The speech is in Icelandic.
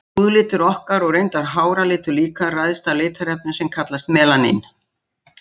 Húðlitur okkar, og reyndar háralitur líka, ræðst af litarefni sem kallast melanín.